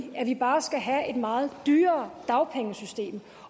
at vi bare skal have et meget dyrere dagpengesystem